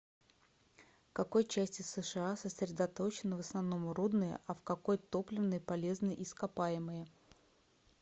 в какой части сша сосредоточены в основном рудные а в какой топливные полезные ископаемые